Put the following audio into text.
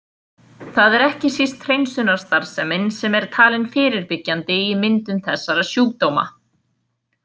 Það er ekki síst hreinsunarstarfsemin sem er talin fyrirbyggjandi í myndun þessara sjúkdóma.